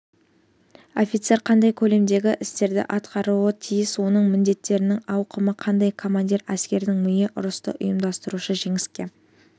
офицер қандай көлемдегі істерді атқаруы тиіс оның міндеттерінің ауқымы қандай командир әскердің миы ұрысты ұйымдастырушы жеңіске